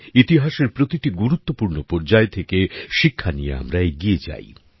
ইতিহাসের প্রতিটি গুরুত্বপূর্ণ পর্যায় থেকে শিক্ষা নিয়ে আমরা এগিয়ে যাই